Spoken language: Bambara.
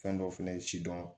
Fɛn dɔ fɛnɛ ye sidɔn